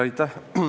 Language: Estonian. Aitäh!